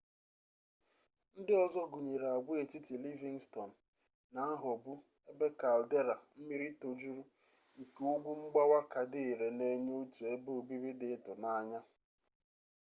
ndị ọzọ gụnyere agwaetiti livingston na nghọgbu ebe caldera mmiri tojuru nke ugwu mgbawa ka dị ire na-enye otu ebe obibi dị ịtụnanya